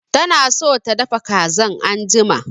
Tana so ta dafa kazan anjima